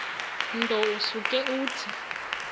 nto usuke uthi